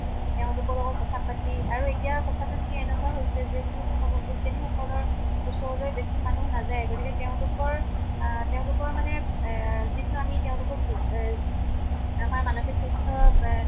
তেওঁলোকৰ লগত কথা পাতি আৰু এতিয়া কথাটো কি এনেকেউৱা হৈছে যে যিহেতু মনোবিজ্ঞানি সকলৰ ওচৰলৈ বেছি মানুহ নাযায়, গতিকে তেওঁলোকৰ আহ তেওঁলোকৰ মানে এহ যিটো আমি তেওঁলোকক জু এহ আমাৰ মানসিক স্বাস্থৰ ৱে